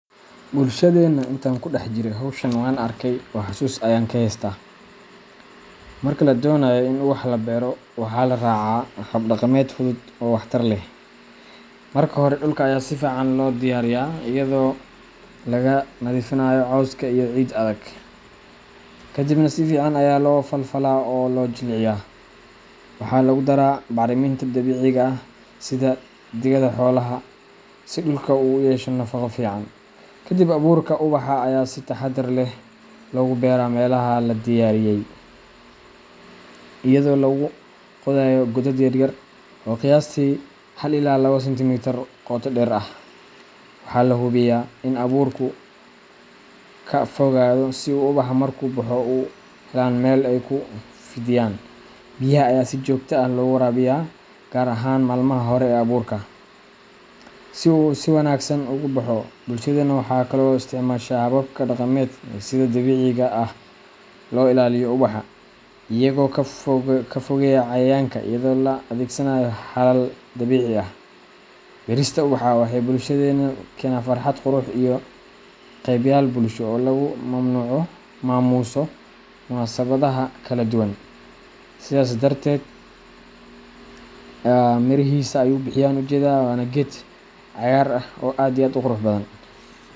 Bulshadeena, intan kudax jire howshan wan arkey oo hasus ayan kahesta , marka la doonayo in ubax la beero, waxaa la raacaa hab dhaqameed fudud oo waxtar leh. Marka hore, dhulka ayaa si fiican loo diyaariyaa iyadoo laga nadiifiyo cawska iyo ciid adag, kadibna si fiican ayaa loo falfalaa oo loo jilciyaa. Waxaa lagu daraa bacriminta dabiiciga ah sida digada xoolaha si dhulku u yeesho nafaqo fiican. Kadib, abuurka ubaxa ayaa si taxadar leh loogu beeraa meelaha la diyaariyey, iyadoo lagu qodayo godad yar yar oo qiyaastii hal ila labo sentimitar qoto dheer ah. Waxaa la hubiyaa in abuurku kala fogaado si ubaxa markuu baxo u helaan meel ay ku fidiyaan. Biyaha ayaa si joogto ah loogu waraabiyaa, gaar ahaan maalmaha hore ee abuurka, si uu si wanaagsan ugu baxo. Bulshadeenu waxay kaloo isticmaashaa hababka dhaqameed ee sida dabiiciga ah loo ilaaliyo ubaxa, iyagoo ka fogeeya cayayaanka iyada oo la adeegsanayo xalal dabiici ah. Beerista ubaxa waxay bulshada keenaysaa farxad, qurux, iyo ka qeybgal bulsho oo lagu maamuuso munaasabadaha kala duwan. Sidasi darted mirihisa ayu bixiye ayana u jedaa waana ged cagar ah aad iyo aad u qurux badan.